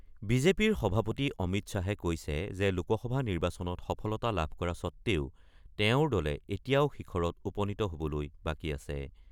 বিজেপিৰ সভাপতি অমিত শ্বাহে কৈছে যে, লোকসভা নিৰ্বাচনত সফলতা লাভ কৰা স্বত্তেও তেওঁৰ দলে এতিয়াও শিখৰত উপনীত হবলৈ বাকী আছে।